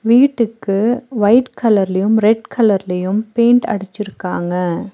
வீட்டுக்கு வைட் கலர்லயும் ரெட் கலர்லயும் பெயிண்ட் அடிச்சிருக்காங்க.